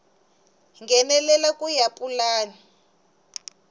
nghenelela ku ya hi pulani